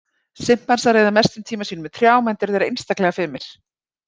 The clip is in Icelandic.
Simpansar eyða mestum tíma sínum í trjám enda eru þeir einstaklega fimir.